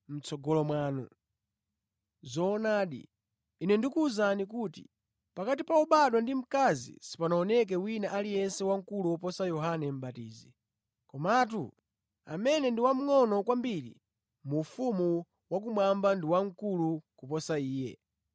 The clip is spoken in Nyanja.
Zoonadi, Ine ndikuwuzani kuti pakati pa obadwa ndi mkazi sipanaoneke wina aliyense wamkulu woposa Yohane Mʼbatizi; komatu amene ndi wamngʼono kwambiri mu ufumu wakumwamba ndi wamkulu koposa iye.